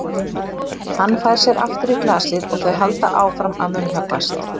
Hann fær sér aftur í glasið og þau halda áfram að munnhöggvast.